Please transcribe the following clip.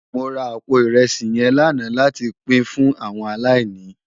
Mó rá àpó irèsí yèn làná làtí pin fún áwòn àláìní